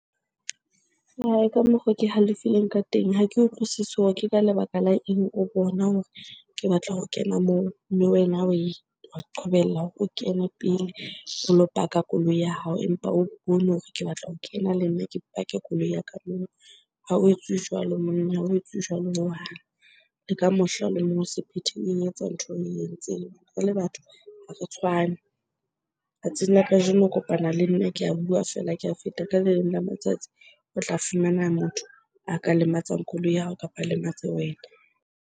Ka mokgo ke halefileng ka teng ha ke utlwisisi hore ke ka lebaka la eng o bona hore ke batla ho kena moo, mme wena oe qobella ha o kena pele o lo park-a koloi ya hao empa o bone hore ke batla ho kena le nna ke pake koloi ya ka moo. Ha ho etsuwe jwalo monna, ha ho etsuwe jwalo hohang. Le ka mohla o le mong o se phethe oe etsa ntho oe entseng. Re le batho ha re tshwane. Tsatsing la kajeno o kopana le nna ke a bua feela ke a feta, ka le leng la matsatsi o tla fumana motho a ka lematsang koloi ya hao kapa a lematse wena.